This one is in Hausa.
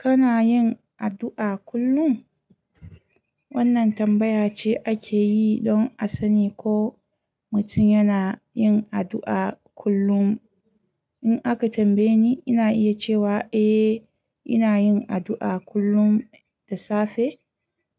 Kana yin addu'a kullum? Wannan tambaya ce ake yi don a sani ko mutum yana yin addu'a kullum. In aka tambaye ni, ina iya cewa eh, ina yin addu'a kullum da safe